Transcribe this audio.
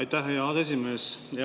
Aitäh, hea aseesimees!